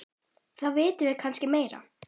Þá vitum við kannski meira.